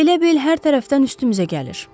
Elə bil hər tərəfdən üstümüzə gəlir.